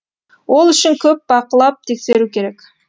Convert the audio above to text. ол үшін көп бақылап тексеру керек